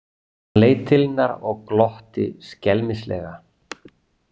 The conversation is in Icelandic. Hann leit til hennar og glotti skelmislega.